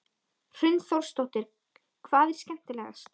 Hrund Þórsdóttir: Hvað er skemmtilegast?